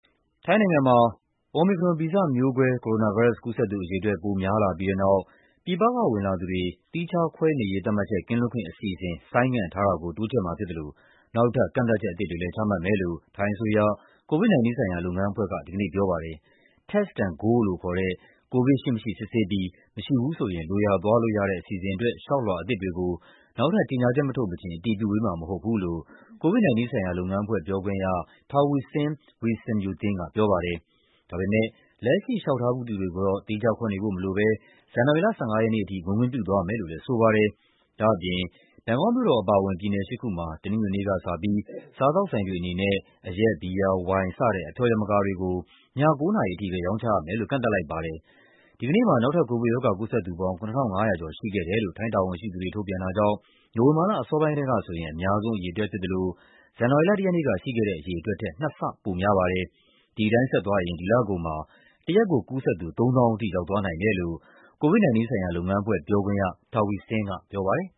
ထိုင်းနိုင်ငံမှာ Omicron ဗီဇမျိုးကွဲ ကိုရိုနာဗိုင်းရပ်စ် ကူးစက်သူအရေအတွက် ပိုများလာပြီးတဲ့နောက် ပြည်ပကဝင်လာသူတွေ သီးခြားခွဲနေရေး သတ်မှတ်ချက် ကင်းလွတ်ခွင့်အစီအစဉ် ဆိုင်းငံ့ထားတာကို တိုးချဲ့မှာဖြစ်သလို နောက်ထပ် ကန့်သတ်ချက် အသစ်တွေလည်း ချမှတ်မယ်လို့ ထိုင်းအစိုးရ၊ COVID-19 ဆိုင်ရာ လုပ်ငန်းအဖွဲ့က ဒီကနေ့ပြောပါတယ်။ Test&Go လို့ခေါ်တဲ့ ကိုဗစ်ရှိမရှိစစ်ဆေးပြီး မရှိရင် လိုရာသွားလို့ရတဲ့ အစီအစဉ်အတွက် လျှောက်လွှာအသစ်တွေကို နောက်ထပ် ကြေညာချက်မထုတ်မချင်း အတည်ပြုပေးမှာမဟုတ်ဘူးလို့ COVID-19 ဆိုင်ရာလုပ်ငန်းအဖွဲ့ပြောခွင့်ရ Taweesin Visanuyothin ကပြောပါတယ်။ ဒါပေမယ့် လက်ရှိ လျှောက်ထားပြီးသူတွေကိုတော့ သီးခြားခွဲနေဖို့မလိုဘဲ ဇန်နဝါရီလ ၁၅ ရက်နေ့အထိ ဝင်ခွင့်ပြု သွားမယ်လို့လည်း ဆိုပါတယ်။ ဒါ့အပြင် ဘန်ကောက်မြို့တော်အပါအဝင် ပြည်နယ် ၈ ခုမှာ တနင်္ဂနွေနေ့ကစပြီး စားသောက်ဆိုင် တွေအနေနဲ့ အရက်၊ ဘီယာ၊ ဝိုင် စတဲ့ အဖျော်ယမကာတွေကို ည ၉ နာရီအထိပဲ ရောင်းချရမယ်လို့ ကန့်သတ်လိုက်ပါတယ်။ ဒီကနေ့မှာ နောက်ထပ် ကိုဗစ်ရောဂါကူးစက်သူပေါင်း ၇,၅၀၀ ရှိခဲ့တယ်လို့ ထိုင်းတာဝန်ရှိသူတွေ ထုတ်ပြန်တာကြောင့် နိုဝင်ဘာလအစောပိုင်းကတည်းကဆိုရင် အများဆုံးအရေအတွက်ဖြစ်သလို ဇန်နဝါရီလ ၁ ရက်နေ့က ရှိခဲ့တဲ့အရေအတွက်ထက် နှစ်ဆပိုများပါတယ်။ ဒီအတိုင်းဆက်သွားရင် ဒီလကုန်မှာ တရက်ကို ကူးစက်သူ ၃၀,၀၀၀ ထိ ရောက် သွားနိုင်တယ်လို့ COVID-19 ဆိုင်ရာလုပ်ငန်းအဖွဲ့ပြောခွင့်ရ Taweesin က ပြောပါတယ်